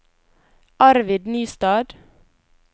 Arvid Nystad